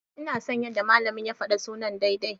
Ina son yadda malamin ya faɗi sunan daidai.